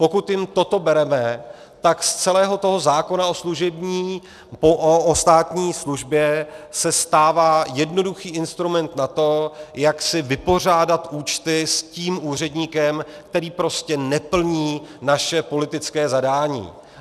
Pokud jim toto bereme, tak z celého toho zákona o státní službě se stává jednoduchý instrument na to, jak si vypořádat účty s tím úředníkem, který prostě neplní naše politické zadání.